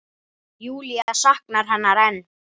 Júlía saknar hennar enn.